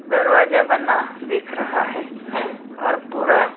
दरवाजा बना दिख रहा है और पूरा---